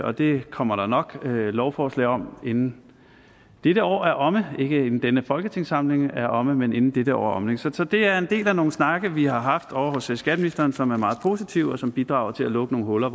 og det kommer der nok lovforslag om inden dette år er omme ikke inden denne folketingssamling er omme men inden dette år er omme så så det er en del af nogle snakke vi har haft ovre hos skatteministeren som er meget positivt og som bidrager til at lukke nogle huller